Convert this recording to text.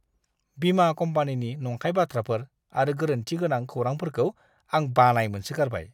बीमा कम्पानिनि नंखाय बाथ्राफोर आरो गोरोनथिगोनां खौरांफोरखौ आं बानाय मोनसोगारबाय!